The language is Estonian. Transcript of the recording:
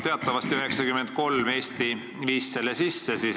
Teatavasti viis Eesti selle sisse 1993.